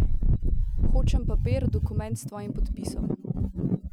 Hočem papir, dokument s tvojim podpisom!